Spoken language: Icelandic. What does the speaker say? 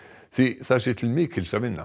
því það sé til mikils að vinna